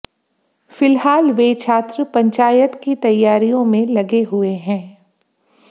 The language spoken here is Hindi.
फिलहाल वे छात्र पंचायत की तैयारियों में लगे हुए हैं